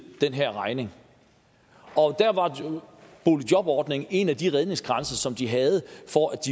den her regning og der var boligjobordningen en af de redningskranse som de havde for at